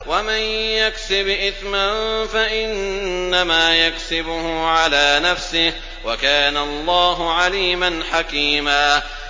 وَمَن يَكْسِبْ إِثْمًا فَإِنَّمَا يَكْسِبُهُ عَلَىٰ نَفْسِهِ ۚ وَكَانَ اللَّهُ عَلِيمًا حَكِيمًا